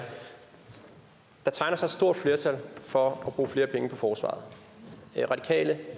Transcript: der tegner sig et stort flertal for at bruge flere penge på forsvaret de radikale